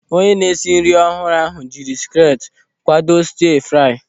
Onye na-esi nri ọhụrụ ahụ jiri skilet kwado stiia-frai.